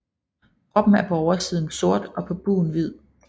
Kroppen er på oversiden sort og på bugen hvid